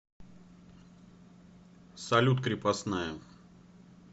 салют крепостная